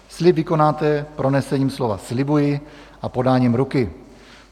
Slib vykonáte pronesením slova "slibuji" a podáním ruky.